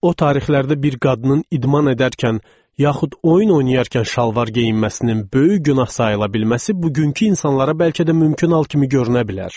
O tarixlərdə bir qadının idman edərkən, yaxud oyun oynayarkən şalvar geyinməsinin böyük günah sayıla bilməsi bugünkü insanlara bəlkə də mümkün hal kimi görünə bilər.